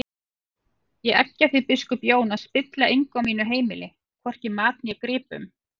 Ég eggja þig biskup Jón að spilla engu á mínu heimili, hvorki mat né gripum!